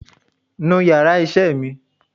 nú íyarà iṣẹ mí!